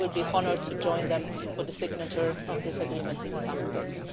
I will be honoured to join them for the signature of this agreement in the coming days.